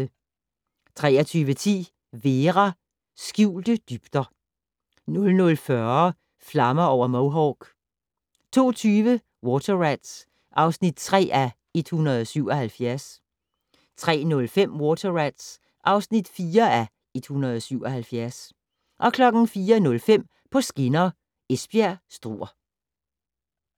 23:10: Vera: Skjulte dybder 00:40: Flammer over Mohawk 02:20: Water Rats (3:177) 03:05: Water Rats (4:177) 04:05: På skinner: Esbjerg-Struer